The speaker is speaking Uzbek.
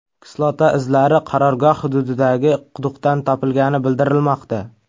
Kislota izlari qarorgoh hududidagi quduqdan topilgani bildirilmoqda.